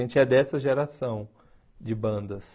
A gente é dessa geração de bandas.